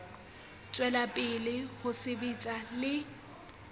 tswela pele ho sebetsa le